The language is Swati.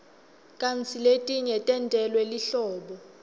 kantsi letinye tentelwe lihlobo